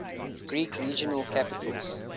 greek regional capitals